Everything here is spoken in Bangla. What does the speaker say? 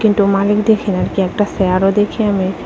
দেখি না কি একটা সেয়ারও দেখি আমি।